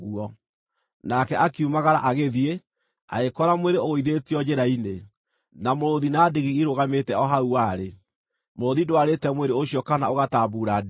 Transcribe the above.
Nake akiumagara agĩthiĩ, agĩkora mwĩrĩ ũgũithĩtio njĩra-inĩ, na mũrũũthi na ndigiri irũgamĩte o hau warĩ. Mũrũũthi ndwarĩte mwĩrĩ ũcio kana ũgatambuura ndigiri.